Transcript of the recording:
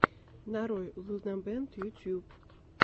нарой лунабэнд ютуб